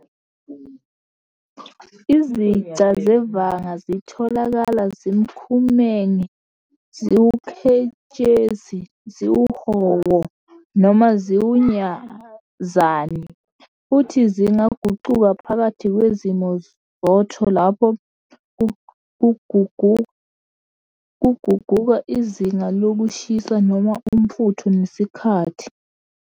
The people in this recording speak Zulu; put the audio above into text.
Iziqa sevanga zitholakala zimkhumenqe, ziwuketshezi, ziwuhowo, noma ziwunyazani, futhi zingaguquka phakathi kwezimo zotho lapho kuguquka izinga lokushisa noma umfutho nesikhathi.